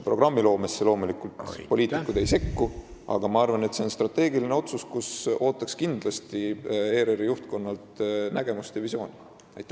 Programmiloomesse poliitikud loomulikult ei sekku, aga siin oleks vaja teha strateegiline otsus, kus ootaks kindlasti nägemust ja visiooni ERR-i juhtkonnalt.